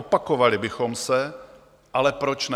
Opakovali bychom se, ale proč ne.